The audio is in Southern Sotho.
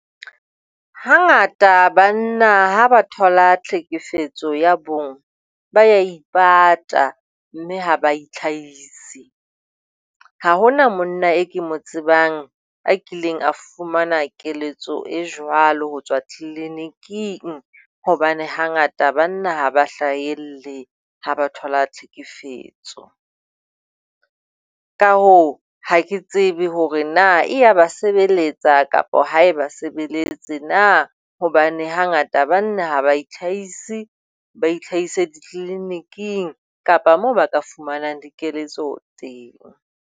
Hangata banna ha ba thola tlhekefetso ya bong, ba a ipata mme ha ba itlhahise. Ha hona monna eo ke mo tsebang a kileng a fumana keletso e jwalo ho tswa tliliniking hobane hangata banna ha ba hlahelle ha ba thola tlhekefetso, Ka hoo, ha ke tsebe hore na e a ba sebeletsa, kapa ha eba sebeletse na hobane hangata banna ha ba itlhahise, ba itlhahise di-clinic-ing kapa moo ba ka fumanang dikeletso teng.